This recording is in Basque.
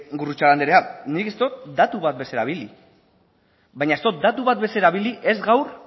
gurrutxaga anderea nik ez dut datu bat ere ez erabili baina ez dut datu bat ere ez erabili ez gaur